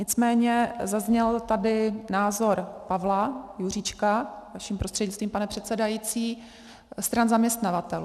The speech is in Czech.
Nicméně zazněl tady názor Pavla Juříčka, vaším prostřednictvím, pane předsedající, stran zaměstnavatelů.